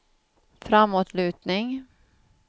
framåtlutning